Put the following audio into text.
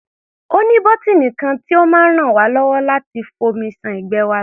Ó ní bọ́tíìnì kan tí ó máa ràn wá lọ́wọ́ láti fomi ṣan ìgbẹ́ wa lọ.